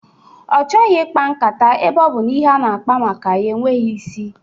Ọ chọghị ikpa nkata ebe ọ bụ na ihe a na-akpa maka ya enweghị isi